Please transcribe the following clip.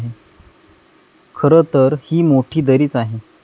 खरं तर, ही मोठी दरीच आहे.